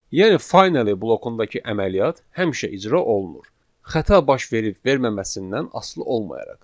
Yəni finally blokundakı əməliyyat həmişə icra olunur, xəta baş verib verməməsindən asılı olmayaraq.